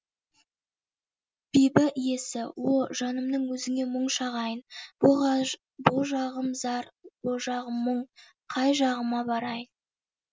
бибі иесі о жанымның өзіңе мұң шағайын бұ жағым зар о жағым мұң қай жағыма барайын